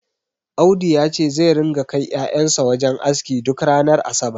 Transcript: Audu yace zai ringa kai ƴaƴan sa wajen aski duk ranar asabar